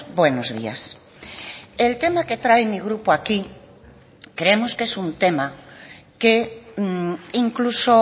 buenos días el tema que trae mi grupo aquí creemos que es un tema que incluso